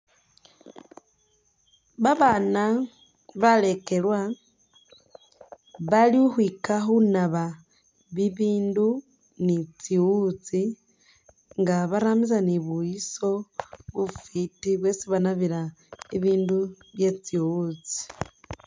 Babaana balekelwa bali khukhwiyika khunaaba bibindu ni tsiwutsi nga barambisa ni buyiso bufiti bwesi banabila bibindu byetsiwutsi